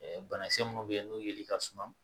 Ɛɛ banakisɛ minnu bɛ yen n'o yeli ka suma